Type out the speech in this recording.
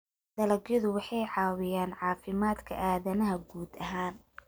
dalagyadu waxay caawiyaan caafimaadka aadanaha guud ahaan.